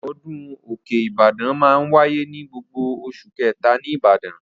Ọdún òkè Ìbàdàn máa ń wáyé ní gbogbo oṣù kẹ̀ta ní Ìbàdàn.